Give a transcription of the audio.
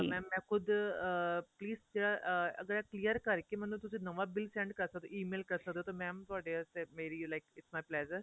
mam ਮੈਂ ਖੁਦ ਅਹ please ਜਿਹੜਾ ਅਹ ਅਗਰ clear ਕਰਕੇ ਮੈਂਨੂੰ ਤੁਸੀਂ ਨਵਾਂ bill send ਕਰ ਸਕਦੇ ਓ E MAIL ਕਰ ਸਕਦੇ ਓ ਤਾਂ mam ਤੁਹਾਡੇ ਵਾਸਤੇ where you like its my pleasure